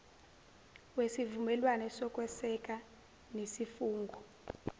wesivumelwane sokweseka nesifungo